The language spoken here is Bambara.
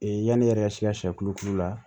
yani e yɛrɛ ka si ka siyɛ tulo k'u la